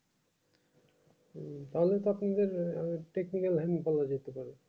ও তাহলে তো আপনি দের আহ technical line follow করতে পারেন